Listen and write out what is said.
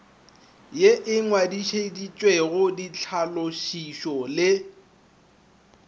ye e ngwadišitšwego ditlhalošišo le